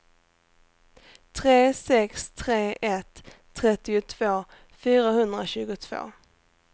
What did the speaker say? tre sex tre ett trettiotvå fyrahundratjugotvå